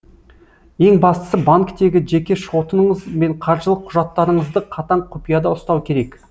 ең бастысы банктегі жеке шотыңыз бен қаржылық құжаттарыңызды қатаң құпияда ұстау керек